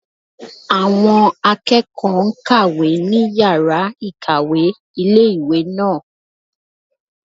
Àwọn akẹ́kọ̀ọ́ n kàwé ní yàrá-ìkàwé ilé-ìwé náà